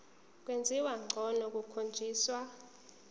kwenziwa ngcono kukhonjiswa